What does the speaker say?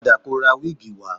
Padà kọ ra wíìgì wá